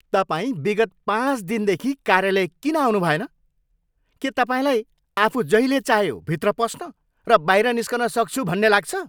तपाईँ विगत पाँच दिनदेखि कार्यालय किन आउनुभएन? के तपाईँलाई आफू जहिले चाहे भित्र पस्न र बाहिर निस्कन सक्छु भन्ने लाग्छ?